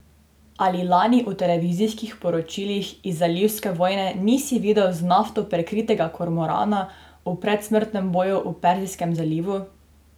Ali lani v televizijskih poročilih iz zalivske vojne nisi videl z nafto prekritega kormorana v predsmrtnem boju v Perzijskem zalivu?